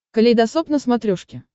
калейдосоп на смотрешке